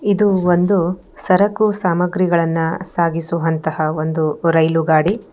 ಇದು ಒಂದು ಸರಕು ಸಾಮಗ್ರಿಗಳನ್ನ ಸಾಗಿಸುವಂತಹ ಒಂದು ರೈಲು ಗಾಡಿ--